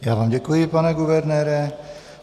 Já vám děkuji, pane guvernére.